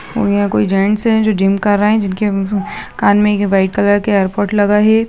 और यह कोई जैंट्स है जो जिम कर रहा है जिनके कान मे एक व्हाइट कलर के ऐयरपोर्ट लगा है।